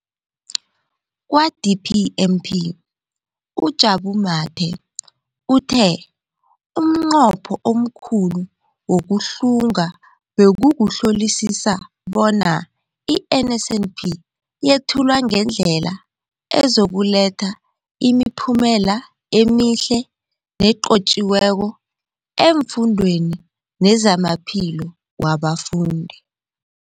Kwa-DPME, uJabu Mathe, uthe umnqopho omkhulu wokuhlunga bekukuhlolisisa bona i-NSNP yethulwa ngendlela ezokuletha imiphumela emihle nenqotjhiweko efundweni nezamaphilo wabafundi.